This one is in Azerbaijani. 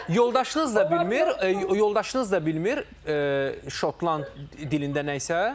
Yoldaşınız da bilmir, yoldaşınız da bilmir şotland dilində nə isə?